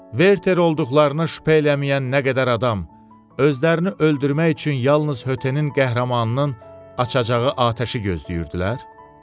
Verter olduqlarına şübhə eləməyən nə qədər adam özlərini öldürmək üçün yalnız hötənin qəhrəmanının açacağı atəşi gözləyirdilər?